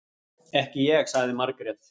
Ekki ég, sagði Margrét.